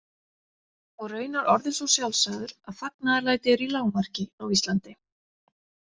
Og raunar orðinn svo sjálfsagður að fagnaðarlæti eru í lágmarki á Íslandi.